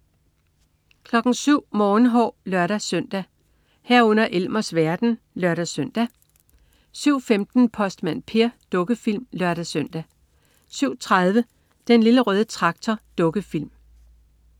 07.00 Morgenhår (lør-søn) 07.00 Elmers verden (lør-søn) 07.15 Postmand Per. Dukkefilm (lør-søn) 07.30 Den Lille Røde Traktor. Dukkefilm